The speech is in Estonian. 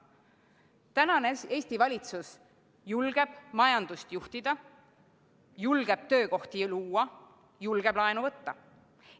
Tänane Eesti valitsus julgeb majandust juhtida, julgeb töökohti luua, julgeb laenu võtta.